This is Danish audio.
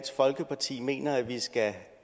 folkeparti mener at vi skal